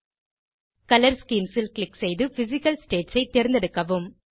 colour schemes ல் click செய்து physical states ஐ தேர்ந்தெடுக்கவும்